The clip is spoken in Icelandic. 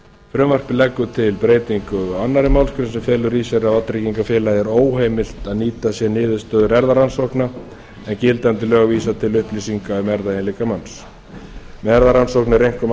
frumvarpið leggur til breytingar á annarri málsgrein sem felur í sér að vátryggingafélag er óheimilt að nýta sér niðurstöður erfðarannsókna en gildandi lög vísa til upplýsinga um erfðaeiginleika manns með erfðarannsókn er einkum